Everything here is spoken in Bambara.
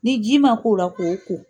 Ni ji man k'o la k'o ko.